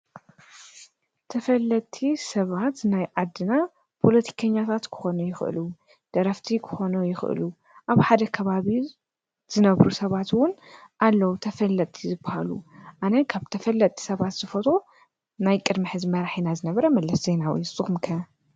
ተፈለጥቲ ሰባት ናይ ዓድና ፖለቲከኛታት ክኾኑ ይኽእሉ፣ ደረፍቲ ክኾኑ ይኽእሉ፣ ኣብ ሓደ ካባቢ ዝነብሩ ሰባትውን ኣለዉ ተፈለጥቲ ዝበሃሉ፡፡ ኣነ ካብ ተፈለጥቲ ሰባት ዝፈትዎ ናይ ቀደም መራሒና ዝነበረ መለስ ዜናዊ እዩ፡፡ ንስኹም ከ?